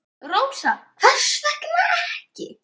Rósa: Hvers vegna ekki?